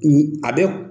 A bɛ